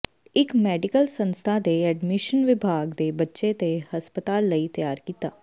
ਇੱਕ ਮੈਡੀਕਲ ਸੰਸਥਾ ਦੇ ਐਡਮੀਸ਼ਨ ਵਿਭਾਗ ਦੇ ਬੱਚੇ ਦੇ ਹਸਪਤਾਲ ਲਈ ਤਿਆਰ ਕੀਤਾ